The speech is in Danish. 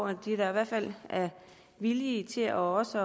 at de i hvert fald er villige til også